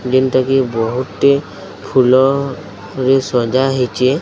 ଯେନ୍ ଟା କି ବହୁତ୍ ଟି ଫୁଲରେ ସଜା ହେଇଛେ।